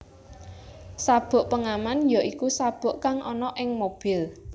Sabuk pengaman ya iku sabuk kang ana ing mobil